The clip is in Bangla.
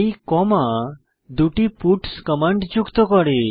এই কমা দুটি পাটস কমান্ড যুক্ত করে